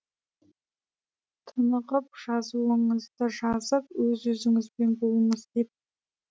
тынығып жазуыңызды жазып өз өзіңізбен болыңыз деп